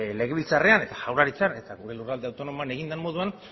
legebiltzarrean eta jaurlaritzan eta gure lurralde autonomoan egin den moduan